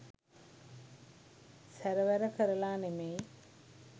සැරවැර කරලා නෙමෙයි